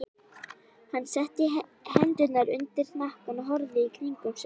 Hann setti hendurnar undir hnakkann og horfði í kringum sig.